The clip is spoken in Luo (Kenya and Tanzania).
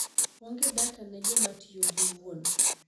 Onge data ne jomatiyo giwuon.